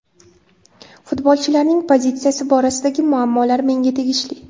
Futbolchilarning pozitsiyasi borasidagi muammolar menga tegishli.